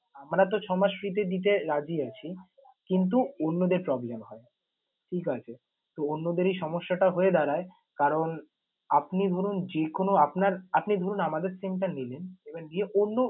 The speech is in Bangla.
আমরা তো ছয় মাস free তে দিতে রাজি আছি কিন্তু অন্যদের problem হয়, ঠিক আছে। তো অন্যদের এই সমস্যাটা হয়ে দাঁড়ায়। করান আপনি ধরুন যেকোনো আপনার আপনি ধরুন আমাদের SIM টা নিলেন এবার নিয়ে অন্য